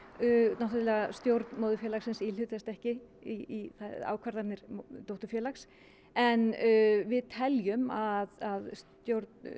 náttúrulega stjórn móðurfélagsins íhlutast ekki í ákvarðanir dótturfélags en við teljum að stjórn